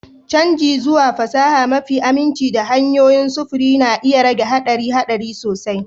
Canji zuwa fasaha mafi aminci da hanyoyin sufuri na iya rage haɗarin haɗari sosai.